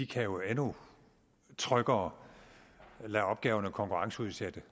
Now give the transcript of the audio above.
kan jo endnu tryggere lade opgaverne konkurrenceudsætte